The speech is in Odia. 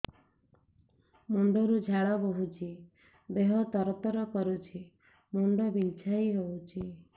ମୁଣ୍ଡ ରୁ ଝାଳ ବହୁଛି ଦେହ ତର ତର କରୁଛି ମୁଣ୍ଡ ବିଞ୍ଛାଇ ହଉଛି